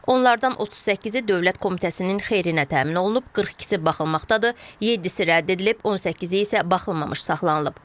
Onlardan 38-i Dövlət Komitəsinin xeyrinə təmin olunub, 42-si baxılmaqdadır, 7-si rədd edilib, 18-i isə baxılmamış saxlanılıb.